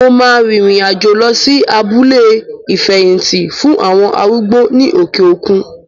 Mo ma rìrìn àjò lọ sí abúlé ìfẹ̀hìtì fún àwọn arúgbó ní òkè òkun.